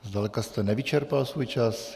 Zdaleka jste nevyčerpal svůj čas.